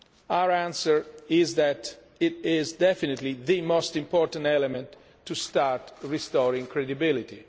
term. Our answer is that it is definitely the most important element to start restoring credibility.